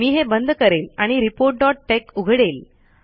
मी हे बंद करेल आणि reportटेक्स उघडेल